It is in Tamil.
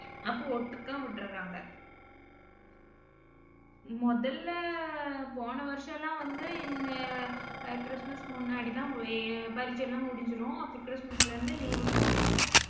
அப்ப, ஒட்டுக்கா விட்டுர்றாங்க முதல்ல போன வருஷமெல்லாம் வந்து இந்த அஹ் கிறிஸ்துமஸ் முன்னாடிதான் பரீட்சை எல்லாம் முடிஞ்சிரும். அப்புறம் கிறிஸ்துமஸ்ல இருந்து leave விட்டுருவாங்க.